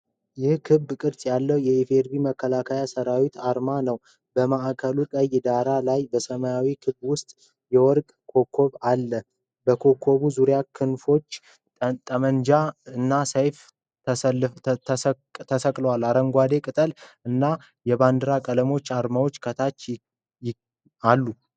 ይህ ክብ ቅርጽ ያለው የኢ.ፌ.ዲ.ሪ. መከላከያ ሠራዊት አርማ ነው። በማዕከሉ ቀይ ዳራ ላይ በሰማያዊ ክብ ውስጥ የወርቅ ኮከብ አለ። በኮከቡ ዙሪያ ክንፎች፣ ጠመንጃ እና ሰይፍ ተሰቅለዋል። አረንጓዴ ቅጠል እና የባንዲራ ቀለሞች አርማውን ከታች ይከብቡታል።